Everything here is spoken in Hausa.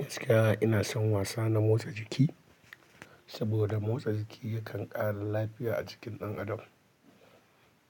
Gaskiya ina son wasa na motsa jiki, saboda motsa jiki yakan ƙara lafiya a jikin ɗan adam.